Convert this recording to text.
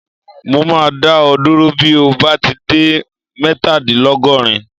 Mo máa dá ọ dúró bí o bá ti dé mẹ́tadìnlọ́gọ́rin.